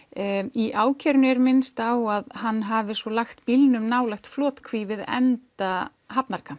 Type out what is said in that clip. í ákærunni er minnst á að hann hafi svo lagt bílnum nálægt flotkví við enda